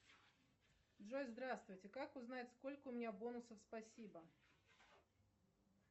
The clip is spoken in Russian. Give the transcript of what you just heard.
джой здравствуйте как узнать сколько у меня бонусов спасибо